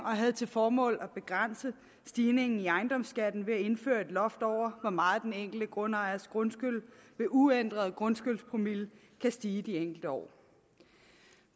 og havde til formål at begrænse stigningen i ejendomsskatten ved at indføre et loft over hvor meget den enkelte grundejers grundskyld ved uændret grundskyldspromille kan stige i de enkelte år